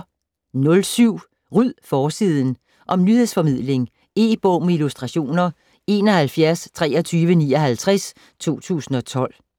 07 Ryd forsiden! Om nyhedsformidling. E-bog med illustrationer 712359 2012.